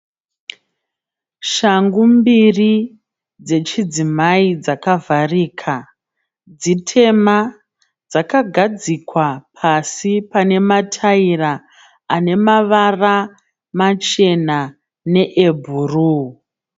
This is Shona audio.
Shangu mbiri dzechidzimai dzakavharika. Dzitema dzakagadzikwa pasi pane mataira ane mavara machena neebhuru.